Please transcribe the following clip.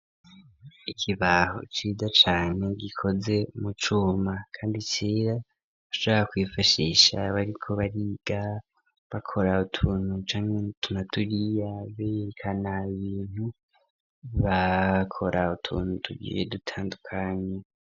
Ikibaho ciza cane, gikoze mu cuma, kandi cera, bashobora kwifashisha, bariko bariga, bakora utuntu, canke n'utu na turiya, berekana ibintu bakora, utuntu tugiye, dutandukanye.